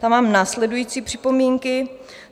Tam mám následující připomínky.